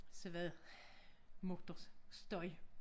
Så var der motorstøj